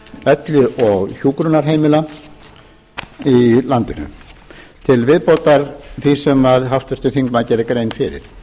elli og hjúkrunarheimila í landinu til viðbótar því sem háttvirtur þingmaður gerði grein fyrir